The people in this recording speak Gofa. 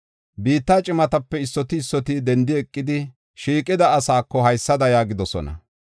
Biitta cimatape issoti issoti dendi eqidi, shiiqida asaako haysada yaagidosona: